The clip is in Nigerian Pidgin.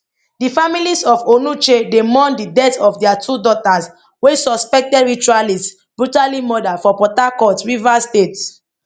di families of onuche dey mourn di death of dia two daughters wey suspected ritualists brutally murder for port harcourt rivers state